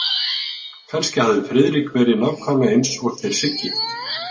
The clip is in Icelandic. Kannski hafði Friðrik verið nákvæmlega eins og þeir Siggi.